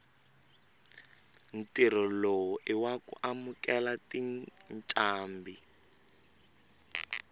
ntirho lowu iwaku amukela tincambi